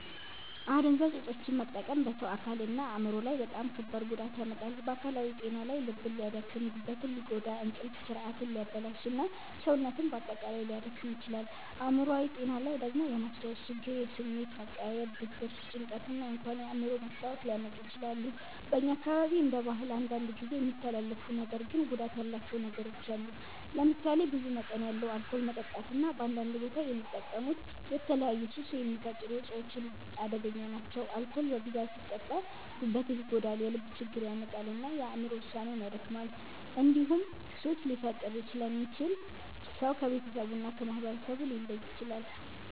አደንዛዥ እፆችን መጠቀም በሰው አካልና አእምሮ ላይ በጣም ከባድ ጉዳት ያመጣል። በአካላዊ ጤና ላይ ልብን ሊያደክም፣ ጉበትን ሊጎዳ፣ እንቅልፍ ስርዓትን ሊያበላሽ እና ሰውነትን በአጠቃላይ ሊያዳክም ይችላል። አእምሮአዊ ጤና ላይ ደግሞ የማስታወስ ችግር፣ የስሜት መቀያየር፣ ድብርት፣ ጭንቀት እና እንኳን የአእምሮ መታወክ ሊያመጡ ይችላሉ። በእኛ አካባቢ እንደ ባህል አንዳንድ ጊዜ የሚተላለፉ ነገር ግን ጉዳት ያላቸው ነገሮች አሉ። ለምሳሌ ብዙ መጠን ያለው አልኮል መጠጣት እና በአንዳንድ ቦታ የሚጠቀሙት የተለያዩ ሱስ የሚፈጥሩ እፆች አደገኛ ናቸው። አልኮል በብዛት ሲጠጣ ጉበትን ይጎዳል፣ የልብ ችግር ያመጣል እና የአእምሮ ውሳኔን ያደክማል። እንዲሁም ሱስ ሊፈጥር ስለሚችል ሰው ከቤተሰቡ እና ከማህበረሰቡ ሊለይ ይችላል።